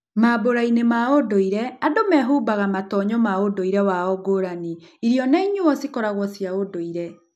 Mambũrainĩ ma ũndũire, andũ nimehumbaga matonyo ma undũire wao ngũrani, irio na inyuo cikoragwo cia ũndũire.